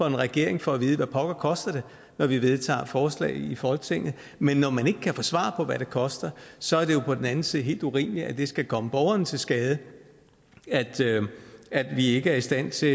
en regering for at vide hvad pokker det koster når vi vedtager forslag i folketinget men når man ikke kan få svar på hvad det koster så er det på den anden side helt urimeligt at det skal komme borgerne til skade at vi ikke er i stand til